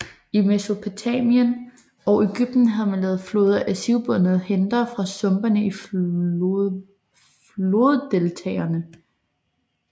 I Mesopotamien og Egypten havde man lavet flåder af sivbundter hentet fra sumpene i floddeltaerne